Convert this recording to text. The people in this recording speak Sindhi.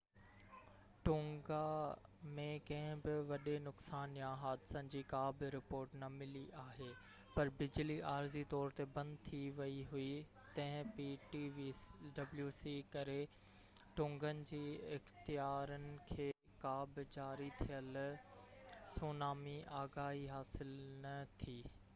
ٽونگا ۾ ڪنهن بہ وڏي نقصان يا حادثن جي ڪا بہ رپورٽ نہ ملي آهي پر بجلي عارضي طور تي بند ٿي ويئي هئي تنهن ڪري ٽونگن جي اختيارن کي ptwc کان جاري ٿيل سونامي آگاهي حاصل نہ ٿي